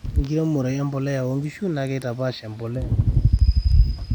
ore enkiremore embolea oo nkishu naa keitapaash embolea enkampuni